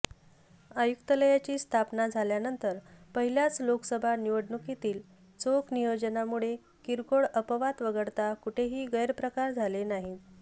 आयुक्तालयाची स्थापना झाल्यानंतर पहिल्याच लोकसभा निवडणुकीतील चोख नियोजनामुळे किरकोळ अपवाद वगळता कुठेही गैरप्रकार झाले नाहीत